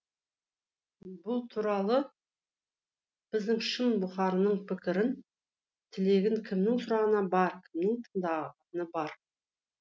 бұл туралы біздің шын бұқарының пікірін тілегін кімнің сұрағаны бар кімнің тыңдағаны бар